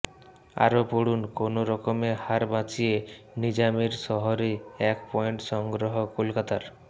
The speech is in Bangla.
আরও পড়ুন কোনোরকমে হার বাঁচিয়ে নিজামের শহরে এক পয়েন্ট সংগ্রহ কলকাতার